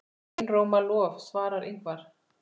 Einróma lof svarar Ingvar.